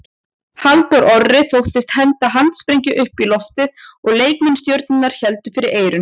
Halldór Orri þóttist henda handsprengju upp í loftið og leikmenn Stjörnunnar héldu fyrir eyrun.